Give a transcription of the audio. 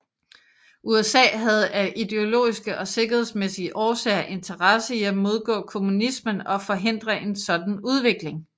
USA havde af ideologiske og sikkerhedsmæssige årsager interesse i at modgå kommunismen og forhindre en sådan udvikling